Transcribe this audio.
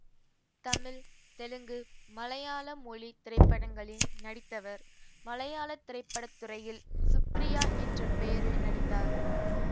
தமிழ் தெலுங்கு மலையாள மொழி திரைப்படங்களில் நடித்தவர் மலையாள திரைப்பட துறையில் சுப்ரியா என்ற பெயரில் நடித்தார்